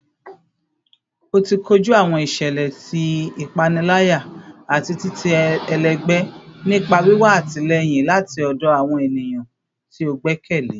oti koju awọn iṣẹlẹ ti ipanilaya ati titẹ ẹlẹgbẹ nipa wiwa atilẹyin lati ọdọ awọn eniyan ti o gbẹkẹle